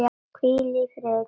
Hvíl í friði, kæra frænka.